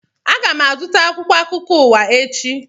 Aga m azụta akwụkwọ akụkọ ụwa echi